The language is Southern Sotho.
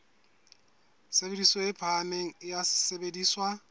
tshebediso e phahameng ya sesebediswa